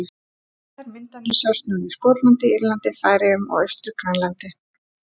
Þær myndanir sjást nú í Skotlandi, Írlandi, Færeyjum og Austur-Grænlandi.